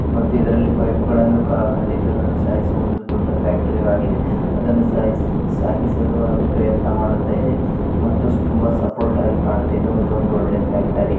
ಮತ್ತೆ ಇದರಲ್ಲಿ ಪೈಪ್‍ ಗಳನ್ನು ಕಲ್ಲಿದ್ದಲನ್ನು ಸಾಯಿಸುವ ಒಂದು ದೊಡ್ಡ ಫ್ಯಾಕ್ಟರಿ ಆಗಿದೆ ಹಾಗೂ ಸಾಯಿಸ್ ಸಾಗಿಸಲು ಅದು ಪ್ರಯತ್ನ ಮಾಡುತ್ತ ಇದೆ ಮತ್ತು ತುಂಬಾ ಸಪೋರ್ಟ್ ಆಗಿ ಕಾಣ್ತಿದೆ ಮತ್ತು ಇದು ಒಂದು ಒಳ್ಳೆ ಫ್ಯಾಕ್ಟರಿ .